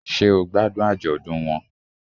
Sé o gbádùn àjọ̀dún won